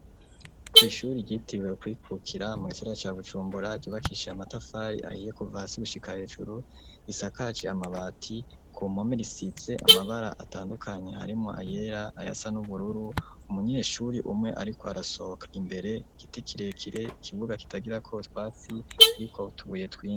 Kw'ishuri ryitiriwe kwikukira mu gisagara ca Bujumbura ryubakisha amatafari ahiye kuva hasi gushika hejuru, risakaje amabati, ku mpome risize amabara atandukanye harimwo ayera, ayasa n'ubururu, umunyeshuri umwe ariko arasohoka imbere, igiti kirekire, ikibuga kitagirako utwatsi kiriko utubuye twinshi.